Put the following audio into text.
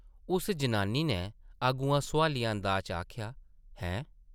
उस जनानी नै अग्गुआं सोआलिया अंदाज च आखेआ, ‘‘हैं? ’’